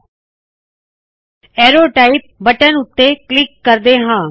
ਅਰੋ type arrow type button ਉੱਤੇ click ਕਰਦੇ ਹਾਂ